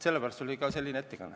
Selle pärast oli mul selline ettekanne.